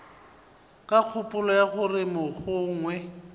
ka kgopolo ya gore mogongwe